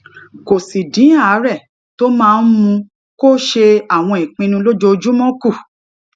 kó sì dín àárè tó máa ń mú kó ṣe àwọn ìpinnu lójoojúmó kù